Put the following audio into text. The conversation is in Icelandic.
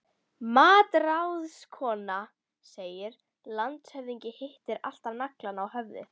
MATRÁÐSKONA: Landshöfðingi hittir alltaf naglann á höfuðið.